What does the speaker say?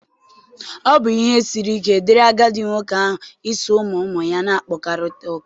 Ọ bụ ihe siri ike dịrị agadi nwoke ahụ iso ụmụ ụmụ ya na-akpakọrịta ụka.